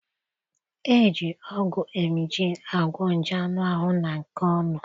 Eji ọgwụ emgyl agwo nje anụ ahụ na nke ọnụ